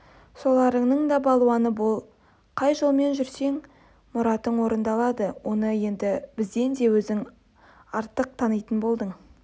соларыңның балуаны бол қай жолмен жүрсең мұратың орындалады оны енді бізден де өзің артық танитын болдың